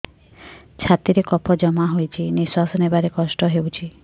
ଛାତିରେ କଫ ଜମା ହୋଇଛି ନିଶ୍ୱାସ ନେବାରେ କଷ୍ଟ ହେଉଛି